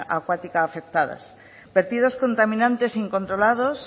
acuática afectadas vertidos contaminantes incontrolados